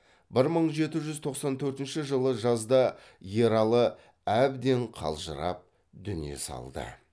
бір мың жеті жүз тоқсан төртінші жылы жазда ералы әбден қалжырап дүние салды